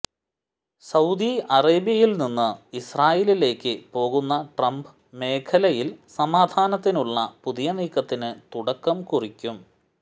Saudi അറേബ്യയിൽനിന്ന് ഇസ്രായിലിലേക്ക് പോകുന്ന ട്രംപ് മേഖലയിൽ സമാധാനത്തിനുള്ള പുതിയ നീക്കത്തിന് തുടക്കം കുറിക്കും